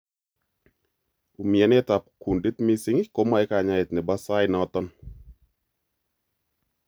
Umianet ab kundit mising' komoe kanyaeet nebo saait noton